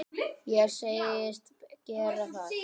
Ég sagðist gera það.